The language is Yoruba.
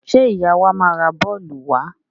Ṣé ìyá wa máa ra bọ́ọ́lù wa?